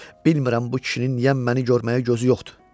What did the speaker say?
Bilmirəm bu kişinin niyə məni görməyə gözü yoxdur.